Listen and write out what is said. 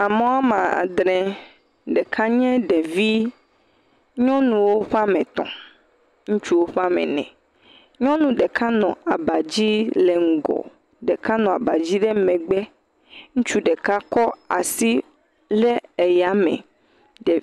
Amewoa me adre, ɖeka nye ɖevi. Nyɔnuwo ƒea me etɔ, ŋutsuwo ƒea me ene. Nyɔnu ɖeka nɔ abadzi le ŋgɔ, ɖeka nɔ abadzi le megbe. Ŋutsu ɖeka kɔ asi ɖe eya me.